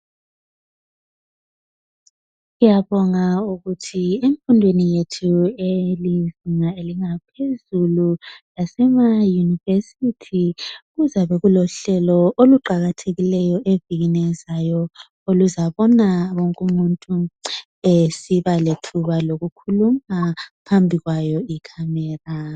Syabonga ukuthi emfundweni yethu eyezinga elingaphezulu elemayunivesithi kuzabe kulohlelo oluqakathekileyo evikini elizayo olozabona wonke umuntu esiba lethuba lokukhuluma phambi kwayo icamera